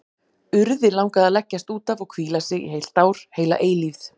Urði langaði að leggjast út af og hvíla sig, í heilt ár, heila eilífð.